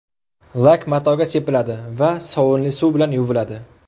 Lak matoga sepiladi va sovunli suv bilan yuviladi.